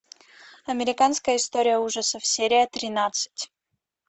американская история ужасов серия тринадцать